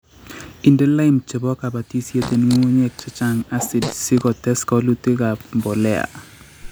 Inde lime chebo kabatisiet en ngungunyek chechang acid si kotes walutikab mbolea